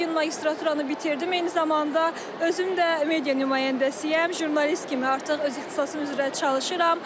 Bu gün magistraturanı bitirdim, eyni zamanda özüm də media nümayəndəsiyəm, jurnalist kimi artıq öz ixtisasım üzrə çalışıram.